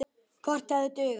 Kort hefði dugað.